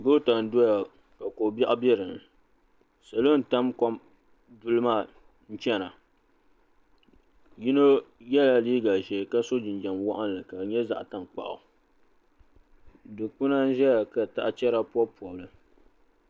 Goota n doya ka ko biɛɣu be dini. Salo n tab kom duli maa n chana. Yino yela liiga ʒee ka so jinjam waɣinli ka di nye zaɣi tankpuɣu. Dukpina n ʒɛya ka tahi chera pobi pobili.